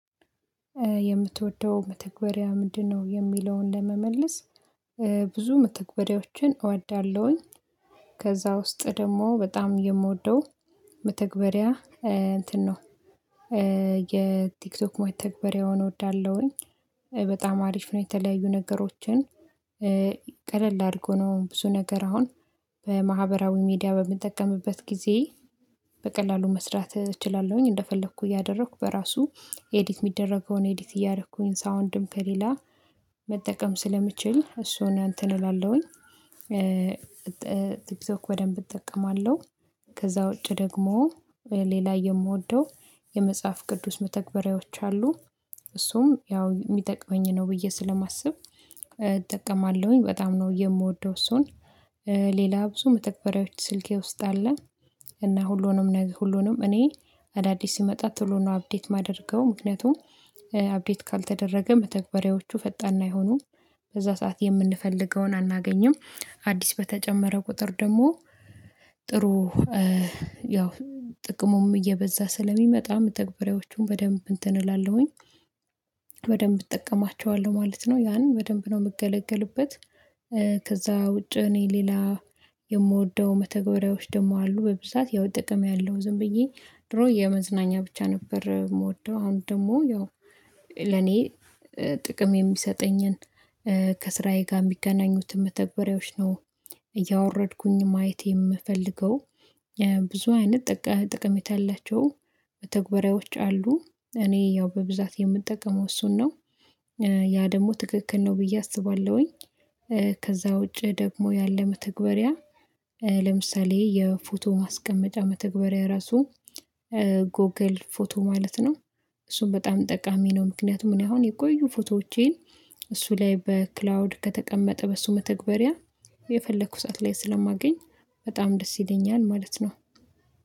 የምትወደው መተግበሪያ ምንድነው? የሚለውን ለመመለስ ብዙ መተግበሪያዎችን እወዳለሁኝ። ከዛ ውስጥ ደግሞ በጣም የምወደው መተግበሪያ እንትን ነው። የቲክቶክ መተግባሪያውን እወዳለሁኝ። በጣም አሪፍ ነው የተለያዩ ነገሮችን። ቀለል አድርጎ ነው ብዙ ነገር አሁን በማህበራዊ ሚዲያ በምንጠቀምበት ጊዜ። በቀላሉ መስራት እችላለሁኝ እንደፈለኩ እያደረኩ በራሱ ኤዲት የሚደረገውን ኤዲት እያደረኩኝ ሳውንድም ከሌላ መጠቀም ስለምችል እሱን እንትን እላለሁኝ። ቲክቶክ በደንብ እጠቀማለሁ። ከዛ ውጪ ደግሞ ሌላ የምወደው የመጽሐፍ ቅዱስ መተግበሪያዎች አሉ። እሱም ያው የሚጠቅመኝ ነው ብዬ ስለማስብ እጠቀማለሁኝ በጣም ነው የምወደው እሱን። ሌላ ብዙ መተግበሪያዎች ስልኬ ውስጥ አለ። እና ሁሉንም ሁሉንም እኔ አዳዲስ ሲመጣ ቶሎ ነው አፕዴት የማደርገው ምክንያቱም አፕዴት ካልተደረገ መተግበሪያዎቹ ፈጣን አይሆኑም። በዛ ሰዓት የምንፈልገውን አናገኝም አዲስ በተጨመረ ቁጥር ደግሞ ጥሩ። ያው ጥቅሙም እየበዛ ስለሚመጣ መተግበሪያዎቹን በደንብ እንትን እላለሁኝ። በደንብ እጠቀማቸዋለሁ ማለት ነው ያንን በደንብ ነው የምገለገልበት። ከዛ ውጪ እኔ ሌላ የምወደው መተገበሪያዎች ደግሞ አሉ በብዛት ያው ጥቅም ያለው ዝም ብዬ ድሮ የመዝናኛ ብቻ ነበር የምወደው። አሁን ደግሞ ያው ለኔ ጥቅም የሚሰጠኝን። ከስራዬ ጋር የሚገናኙት መተግበሪያዎች ነው እያወረድኩኝ ማየት የምፈልገው። ብዙ አይነት ጠቀሜታ ያላቸው መተግበሪያዎች አሉ። እኔ ያው በብዛት የምጠቀመው እሱን ነው ያ ደግሞ ትክክል ነው ብዬ አስባለሁኝ። ከዛ ውጪ ደግሞ ያለ መተግበሪያ ለምሳሌ የፎቶ ማስቀመጫ መተግበሪያ ራሱ። ጎግል ፎቶ ማለት ነው። እሱን በጣም ጠቃሚ ነው ምክንያቱም እኔ አሁን የቆዩ ፎቶዎቼን እሱ ላይ በክላውድ ከተቀመጠ በሱ መተግበሪያ የፈለኩ ሰዓት ላይ ስለማገኝ በጣም ደስ ይለኛል ማለት ነው።